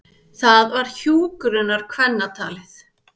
Það var hjúkrunarkvennatalið.